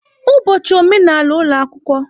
Ụbọchị omenala ụlọ akwụkwọ.